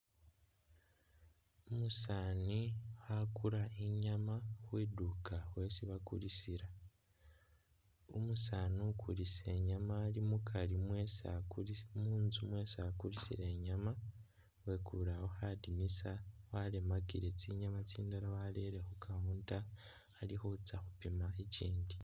Umusaani khakula i'nyaama khwidukha khwesi bakulisila, umusaani ukulisa i'nyaama ali mukari mwesi akulisi munzu mwesi akulisila i'nyaama wekeleewo khadinisa waremakile tsinyaama tsindala warere khu counter, ali khutsa khupima ikiindi